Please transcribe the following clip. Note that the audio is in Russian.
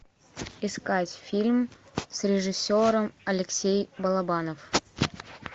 искать фильм с режиссером алексей балабанов